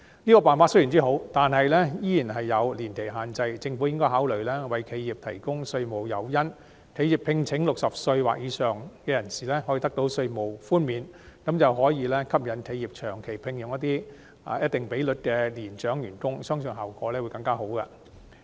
這個辦法雖好，但仍有年期限制，政府應該考慮為企業提供稅務誘因，讓聘請60歲或以上人士的企業可以得到稅務寬免，從而吸引企業長期聘用一定比率的年長員工，相信效果會更好。